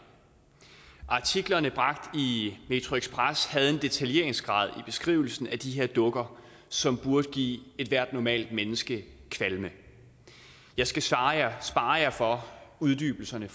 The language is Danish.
artiklerne bragt i metroxpress havde en detaljeringsgrad i beskrivelsen af de her dukker som burde give ethvert normalt menneske kvalme jeg skal spare jer for uddybelserne i